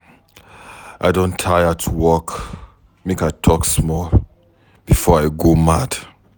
I don tire to work make I talk small before I go mad.